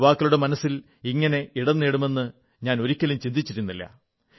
യുവാക്കളുടെ മനസ്സിൽ ഇങ്ങനെ ഇടം നേടുമെന്ന് ഞാൻ ഒരിക്കലും ചിന്തിച്ചിരുന്നില്ല